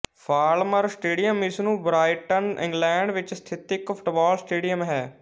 Falmer stadium ਇਸ ਨੂੰ Brighton England ਵਿੱਚ ਸਥਿਤ ਇੱਕ ਫੁੱਟਬਾਲ ਸਟੇਡੀਅਮ ਹੈ